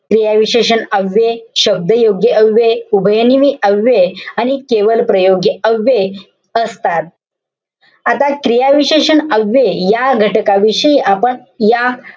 क्रियाविशेषण अव्यये, शब्दयोगी अव्यये, उभयनामी अव्यये आणि केवलप्रयोगी अव्यये असतात. आता क्रियाविशेषण अव्यय, या घटकाविषयी आपण या,